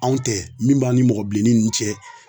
Anw tɛ min b'an ni mɔgɔ bileni nun cɛ